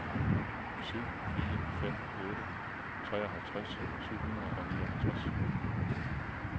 syv fire fem otte treoghalvtreds syv hundrede og nioghalvtreds